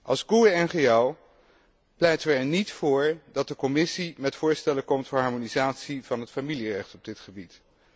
Als GUE NGL pleiten we er niet voor dat de Commissie met voorstellen komt voor harmonisatie van het familierecht op dit gebied.